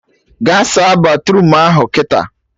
Gaa saa batruum ahụ kịta!